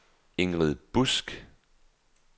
Ingrid Busk